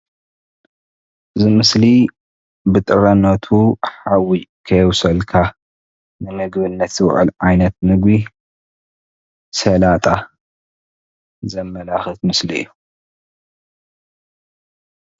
እዚ ምስሊ ብጥረነቱ ሓዊ ከይ ኣብሰልካ ንምግብነት ዝውዕል ዓይነት ምግቢ ሰላጣ ዘመላክት ምስሊ እዩ፡፡